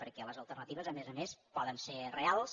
perquè les alternatives a més a més poden ser reals